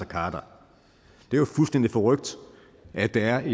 khader det er jo fuldstændig forrykt at der er